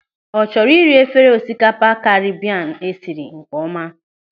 Ọ chọrọ ịri efere osikapa Karibian esiri nkeọma?